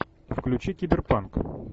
включи киберпанк